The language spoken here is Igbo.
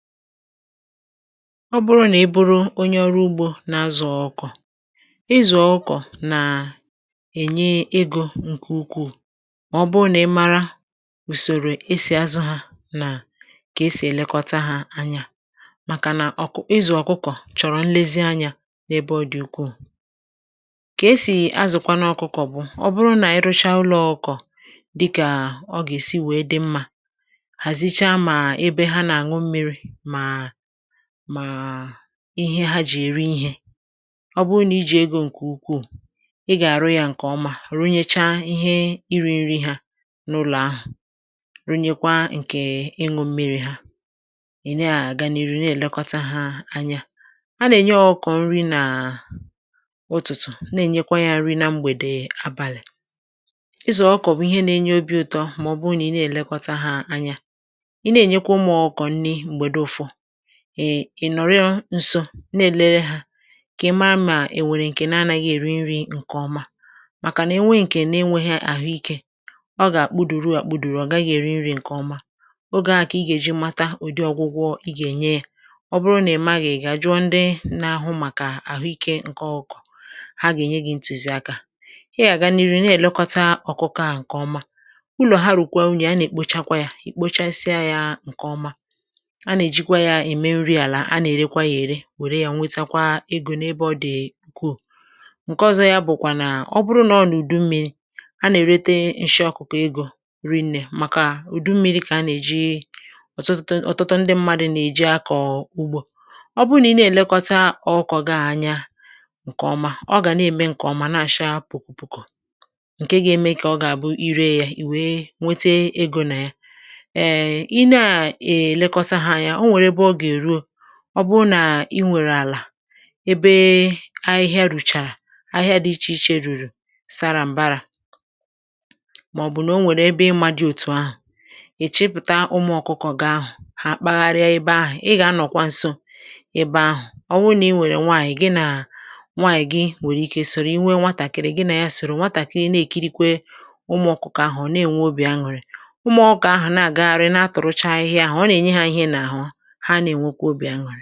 Ọ bụrụ nà ị bụrụ onye ọrụ ugbȯ na-azụ̀ ọkụ̀kọ̀; ịzụ̀ ọkụkọ̀ nà ènye egȯ ǹkè ukwuù ma ọ bụrụ nà ị mara ùsòrò esì azụ̇ hȧ, nà kà esì èlekọta hȧ anyà; màkà nà ọ̀ ị zụ̀ ọkụkọ̀ chọ̀rọ̀ nlezi anyȧ n’ebe ọ dị̀ ukwuù. Kà esì azụ̀kwa nụ ọkụkọ̀ bụ̀, ọ bụrụ nà i rụcha ụlọ̇ ọkụ̀kọ̀ dịkà ọ gà-èsi wèe dị mmȧ, hazịchá mà ébé ha ná-anụ̀ mmịrị, màà màà ihe ha jì èri ihė. Ọ bụrụ nà i ji̇ ego ǹkè ukwuù ị gà-àrụ yȧ ǹkè ọma runyecha ihe iri̇ nri hȧ n’ụlọ̀ ahụ̀, runyekwa ǹkè ịṅụ̇ mmi̇ri̇ ha ị nà-àgà n'ịrụ̀ na-èlekọta ha anyà. À nà-ènye ọkụkọ nri nà ụtụ̀tụ̀, na-ènyekwa yȧ nri na mgbèdè abàlị̀. Ịzụ̀ ọkụ̀kọ̀ bụ̀ ihe nà-enye obi̇ ụtọ mà ọ bụrụ nà ị na-èlekọta hȧ anya; ị nà-ènye kwà ụmụ ọkụkọ nrị mgbèdè ụfọ ị ị nọrọ ǹso, na-èlere hȧ kà ị̀ mara mà ènwèrè ǹkè na anȧghị̇ èri nri̇ ǹkèọma; màkà nà enwe ǹkè na-enweghị àhụikė ọ gà-àkpụdùru àkpụdùru ọ̀ gaghị̇ èri nri̇ ǹkèọma. Ogė ȧhụ̇ kà ị gà-èji mata ụ̀dị ọgwụgwọ ị gà-ènye yȧ, ọ bụrụ nà ị maghị ị gà-àjụọ ndị nȧ-ahụ màkà àhụikė ǹkè ọkụ̇kọ̇; ha gà-ènye gị̇ ntùzìakȧ. Ị gà-àgà n'ịrụ na-èlekọta ọ̀kụkọ ȧhụ̇ ǹkèọma, ụlọ̀ ha rùkwa unyì a nà-èkpochakwa yȧ ìkpochasịa yȧ ǹkèọma. A na-eji kwà ya émè nrị álà, a na-èrè kwa yà èrè wère ya nwetakwa egȯ n’ebe ọ dị̀ ụkwùù; ǹke ọzọ ya bụ̀ kwà nà ọ bụrụ nà ọ nà ùdu mmi̇ri̇ a nà-èrete nshị ọkụ̀kọ egȯ ri nnè, màkà ùdu mmi̇ri̇ kà a nà-èji ọ̀tụtụ ndị mmadụ̇ nà-èji akọ̀ ugbȯ. Ọ bụ nà ị na-èlekọta ọkụkọ gị à anya ǹkèọma, ọ gà na-ème ǹkèọma na-acha pụ̀kọpụ̀kọ̀, ǹke ga-eme kà ọ gà-àbụ irė ya i wee nwete egȯ nà ya. um ị na-èlekọta ha anyà ò nwere ébé ọ ga-erùò, ọ bụrụ nà ị nwèrè àlà ebe ahịhịa rùchàrà ahịhịa dị ichè ichè rùrù sara m̀bara, màọbụ̀ nà o nwèrè ebe ị mà dị òtù ahụ̀, ịchịpụ̀ta ụmụ̀ ọkụkọ gị ahụ̀ ha kpagharịa ebè ahụ̀; ị gà-anọ̀kwa nso ebè ahụ̀, ọ wụ nà ị nwèrè nwaànyị gị nà nwaànyị gị nwèrè ike soro, i nwee nwatàkị̀rị̀ gị nà ya soro nwatàkịrị na-èkirikwe ụmụ̀ ọkụkọ ahụ̀ ọ na-ènwe obì aṅụrị̀; ụmụ̀ ọkụ̀kọ ahụ̀ na-àgagharị na-atụ̀rụcha ahịhịa ahụ̀, ọ nà-ènye ha ihe na ahụ, ha ná-enwe kwà obi aṅụrị.